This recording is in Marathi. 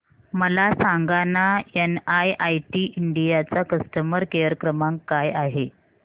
मला सांगाना एनआयआयटी इंडिया चा कस्टमर केअर क्रमांक काय आहे